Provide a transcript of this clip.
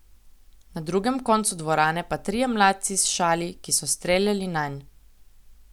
Na drugem koncu dvorane pa trije mladci s šali, ki so streljali nanj.